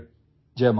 take care